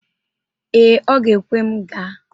Ee, ọ ga-ekwe m gaa.